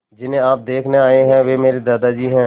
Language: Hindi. जिन्हें आप देखने आए हैं वे मेरे दादाजी हैं